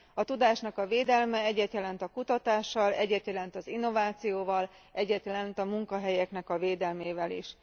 A tudásnak a védelme egyet jelent a kutatással, egyet jelent az innovációval, egyet jelent a munkahelyeknek a védelmével is.